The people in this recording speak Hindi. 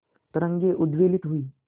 तरंगे उद्वेलित हुई